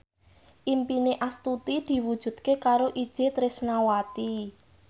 impine Astuti diwujudke karo Itje Tresnawati